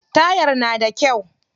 Tayar na da kyau.